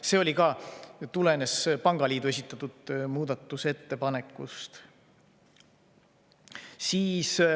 See tulenes pangaliidu esitatud muudatusettepanekust.